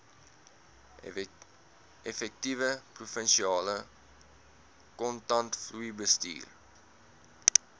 effektiewe provinsiale kontantvloeibestuur